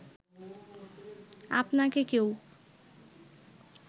আপনাকে কেউ